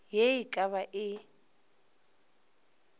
ye e ka ba e